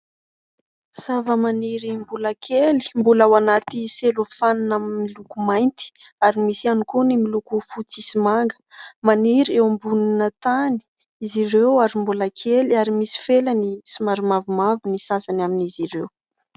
Zava-maniry mbola kely mbola ao anaty selofanina amin'ny loko mainty ary misy ihany koa ny miloko fotsy sy manga, maniry eo ambonina tany izy ireo ary mbola kely ary misy felany somary mavomavo ny sasany amin'izy ireo.